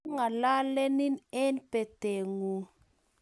Mangalalenin eng batengung